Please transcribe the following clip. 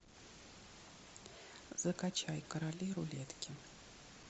закачай короли рулетки